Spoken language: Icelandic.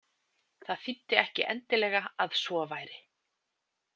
Það þýddi ekki endileg að svo væri.